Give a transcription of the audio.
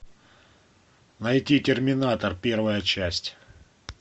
найти терминатор первая часть